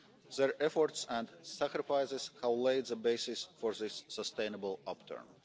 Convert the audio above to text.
Their efforts and sacrifices have laid the basis for this sustainable upturn.